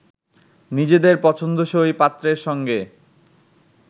নিজেদের পছন্দসই পাত্রের সঙ্গে